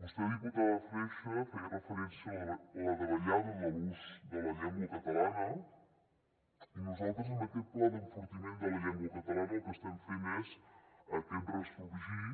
vostè diputada freixa feia referència a la davallada de l’ús de la llengua catalana i nosaltres amb aquest pla d’enfortiment de la llengua catalana el que estem fent és aquest ressorgir